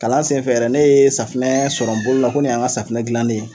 Kalan senfɛ yɛrɛ ne ye safunɛ sɔrɔ n bolo la ko nin y'an ka safunɛ gilannen ye.